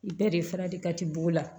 I bɛɛ de fana de ka di b'o la